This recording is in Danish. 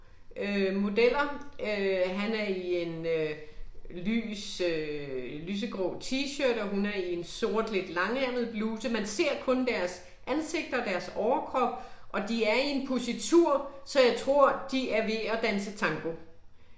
Øh modeller øh, han er i en øh lys øh lysegrå t-shirt og hun er i en sort lidt langærmet bluse, man ser kun deres ansigter og deres overkrop, og de er i en positur så jeg tror de er ved at danse tango